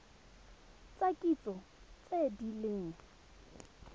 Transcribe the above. tsa kitso tse di leng